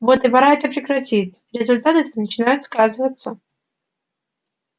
вот и пора это прекратить результаты-то начинают сказываться